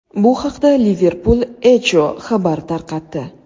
Bu haqda Liverpul Echo xabar tarqatdi .